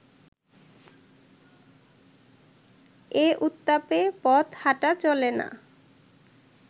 এ উত্তাপে পথ হাঁটা চলে না